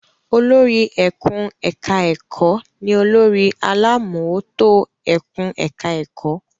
Olórí ẹkùn-ẹ̀ka-ẹ̀kọ́ ní olórí alámòótó ẹkùn-ẹ̀ka-ẹ̀kọ́.